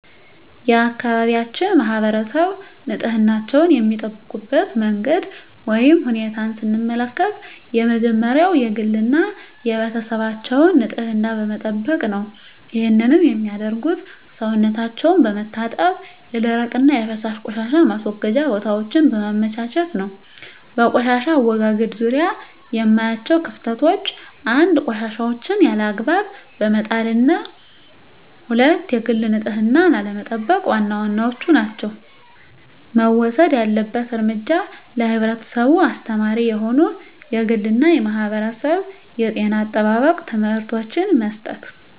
የአካባቢያችን ማህበረሰብ ንፅህናቸዉን የሚጠብቁበት መንገድ ወይም ሁኔታን ስንመለከት የመጀመሪያዉ የግል እና የቤተሰባቸዉን ንፅህና በመጠበቅ ነዉ ይህንንም የሚያደርጉት ሰዉነታቸዉን በመታጠብ የደረቅና የፈሳሽ ቆሻሻ ማስወገጃ ቦታወችን በማመቻቸት ነዉ። በቆሻሻ አወጋገድ ዙሪያ የማያቸዉ ክፍተቶች፦ 1. ቆሻሻወችን ያለ አግባብ በመጣልና 2. የግል ንፅህናን አለመጠቅ ዋና ዋናወቹ ናቸዉ። መወሰድ ያለበት እርምጃ ለህብረተሰቡ አስተማሪ የሆኑ የግልና የማህበረሰብ የጤና አጠባበቅ ትምህርቶችን መስጠት።